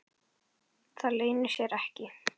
Það leynir sér ekki.